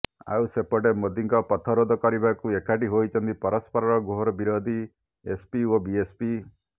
ଆଉ ସେପଟେ ମୋଦୀଙ୍କ ପଥରୋଧ କରିବାକୁ ଏକାଠି ହୋଇଛନ୍ତି ପରସ୍ପରର ଘୋର ବିରୋଧୀ ଏସପି ଓ ବିଏସପି